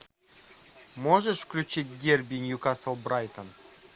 можешь включить дерби ньюкасл брайтон